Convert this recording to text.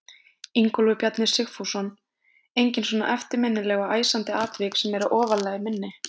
Ingólfur Bjarni Sigfússon: Engin svona eftirminnileg og æsandi atvik sem að eru ofarlega í minni?